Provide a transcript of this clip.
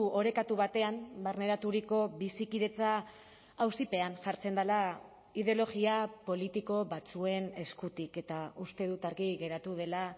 orekatu batean barneraturiko bizikidetza auzipean jartzen dela ideologia politiko batzuen eskutik eta uste dut argi geratu dela